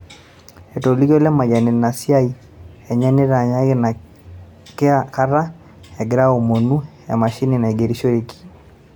Etolikio Lemayian ina siiai enye natanyaki ina kata egira aomunu emashini naigerishoreki